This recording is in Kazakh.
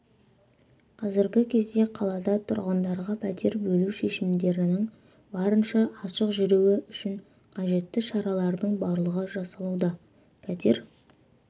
қазіргі кезде қалада тұрғындарға пәтер бөлу шешімдерінің барынша ашық жүруі үшін қажетті шаралардың барлығы жасалуда пәтер